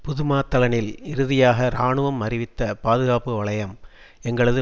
புதுமாத்தளனில் இறுதியாக இராணுவம் அறிவித்த பாதுகாப்பு வலயம் எங்களது